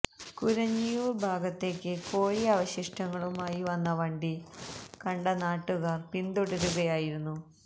കുരഞ്ഞിയൂര് ഭാഗത്തേക്ക് കോഴി അവശിഷ്ടങ്ങളുമായി വന്ന വണ്ടി കണ്ട നാട്ടുകാര് പിന്തുടരുകയായിരുന്നു